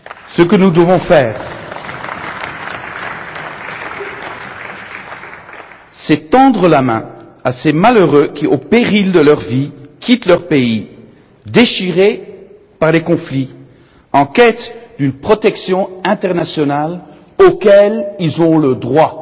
Ce que nous devons faire, c'est tendre la main à ces malheureux qui, au péril de leur vie, quittent leur pays déchiré par les conflits, en quête d'une protection internationale à laquelle ils ont droit.